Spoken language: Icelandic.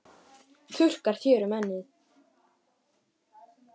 Þurrkar þér um ennið.